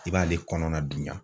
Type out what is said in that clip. I b'ale kɔnɔna dunya.